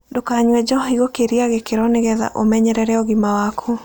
Ndũkanyũe njohĩ gũkĩrĩa gĩkĩro nĩgetha ũmenyerere ũgima wakũ